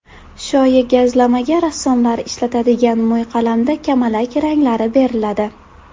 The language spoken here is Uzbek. Shoyi gazlamaga rassomlar ishlatadigan mo‘yqalamda kamalak ranglari beriladi.